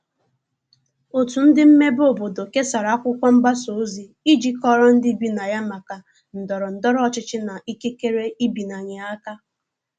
otu ndi mmebe obodo kesara akwụkwo mgbasa ozi iji kọoro ndi ibi na ya maka ndoro ndoro ochichi na ikekere ịbịanye aka